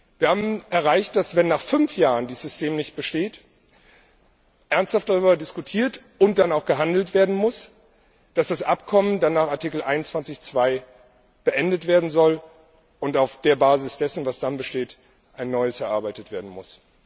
Wir haben erreicht, dass, wenn nach fünf Jahren dieses System nicht besteht, ernsthaft darüber diskutiert und dann auch gehandelt werden muss, dass das Abkommen dann nach Artikel 21 Absatz 2 beendet werden soll, und auf der Basis dessen, was dann besteht, ein neues erarbeitet werden muss.